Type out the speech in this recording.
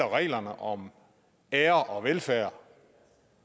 reglerne om ære og velfærd